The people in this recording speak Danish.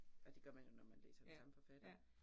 Og det gør man jo, når man læser den samme forfatter